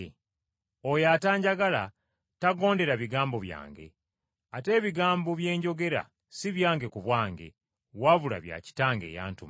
Oyo atanjagala tagondera bigambo byange. Ate ebigambo bye njogera si byange ku bwange wabula bya Kitange eyantuma.